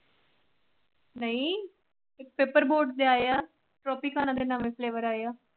ਨਹੀ paper board ਲਿਆਏ ਆ tropicana ਦੇ ਨਵੇਂ flavor ਆਏ ਆ।